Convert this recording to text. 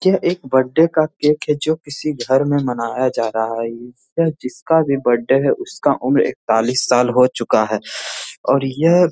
यह एक बर्थडे का केक है जो किसी घर में मनाया जा रहा है। यह जिसका भी बर्थडे है उसका उम्र एकतालीस साल हो चुका है और यह --